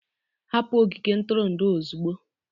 Hapụ ogige ntụrụndụ a ozugbo!